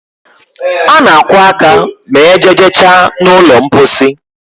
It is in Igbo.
A na akwo aka ma ejeje cha na ụlọ mposi